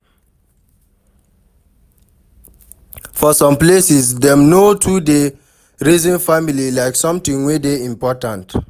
For some places, dem no too dey reason family like something wey dey important